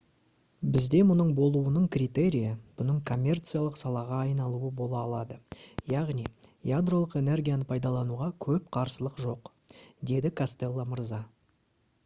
«бізде мұның болуының критерийі бұның коммерциялық салаға айналуы бола алады. яғни ядролық энергияны пайдалануға көп қарсылық жоқ» - деді костелло мырза